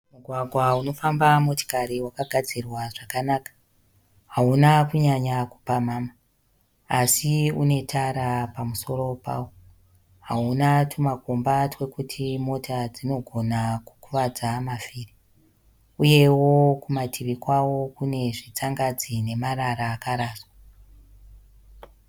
Mugwagwa unofamba motikari wakagadzirwa zvakanaka. Hauna kunyanya kupamhama asi unetara pamusoro pawo. Hauna tumakomba twekuti mota dzinogona kukuvadza mavhiri. Uyewo kumativi kwawo kune zvitsangadzi nemarara akaraswa.